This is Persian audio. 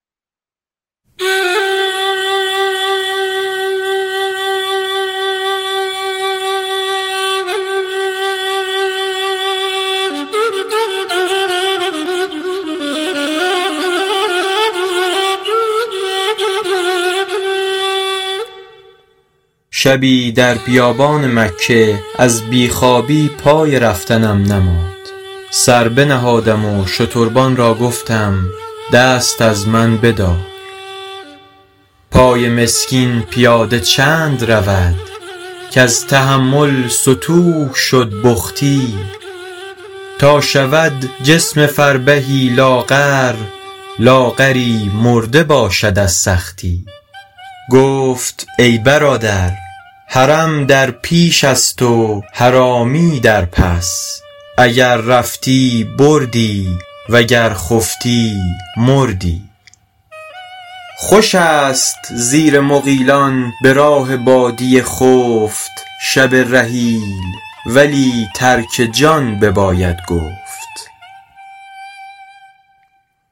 شبی در بیابان مکه از بی خوابی پای رفتنم نماند سر بنهادم و شتربان را گفتم دست از من بدار پای مسکین پیاده چند رود کز تحمل ستوه شد بختی تا شود جسم فربهی لاغر لاغری مرده باشد از سختی گفت ای برادر حرم در پیش است و حرامی در پس اگر رفتی بردی وگر خفتی مردی خوش است زیر مغیلان به راه بادیه خفت شب رحیل ولی ترک جان بباید گفت